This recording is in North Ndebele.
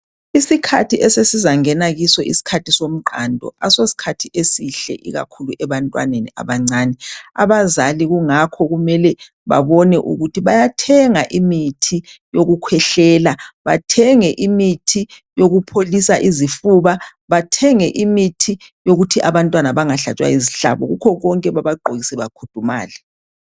Isikhathi esesizangena kiso yisikhathi somqando. Asosikhathi esihle ikakhulu ebantwaneni abancane. Abazali kungakho kumele babone ukuthi bayathenga imithi yokukhwehlela, bathenge imithi yokupholisa izifuba, bathenge imithi yokuthi abantwana bengahlatshwa yizihlabo, kukho konke babagqokise bakhudumale.